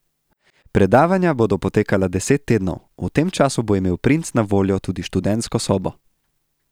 Predavanja bodo potekala deset tednov, v tem času bo imel princ na voljo tudi študentsko sobo.